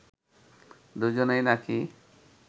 দুজনেই নাকি